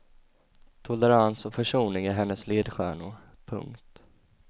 Tolerans och försoning är hennes ledstjärnor. punkt